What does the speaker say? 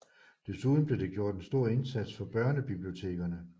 Desuden blev det gjort en stor indsats for børnebibliotekerne